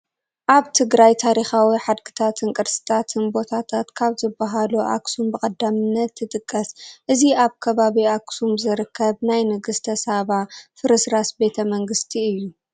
ኣብ ትግራይ ታሪካዊ ሓድግታትን ቅርስታትን ቦታታት ካብ ዝባሃሉ ኣኽሱም ብቐዳምነት ትጥቀስ፡፡ እዚ ኣብ ከባቢ ኣክሱም ዝርከብ ናይ ንግስተ ሳባ ፍርስራስ ቤተ መንግስቲ እዩ፡፡